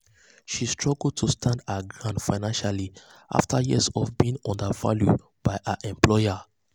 she struggle to stand her ground financially afta years of being undervalued by her employer.